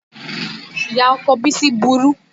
Ìyá ọkọ Bisi burú